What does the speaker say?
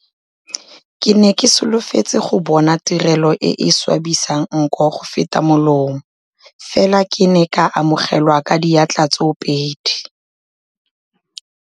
Ke ne ke solofetse go bona tirelo e e swabisang nko go feta molomo, fela ke ne ka amogelwa ka diatla tsoopedi.